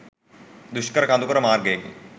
දුෂ්කර කඳුකර මාර්ගයකි.